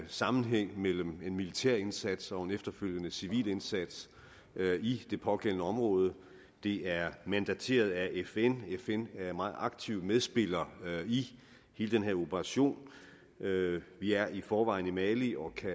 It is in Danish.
sammenhæng mellem en militær indsats og en efterfølgende civil indsats i det pågældende område det er mandateret af fn fn er en meget aktiv medspiller i hele den her operation vi er i forvejen i mali og kan